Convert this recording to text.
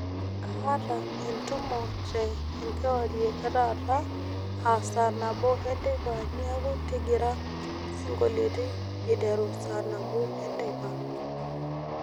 kaata endumo te enkiwarie ee taata aa saa nabo enteipa niaku intigira isingolioni iteru saa nabo enteipa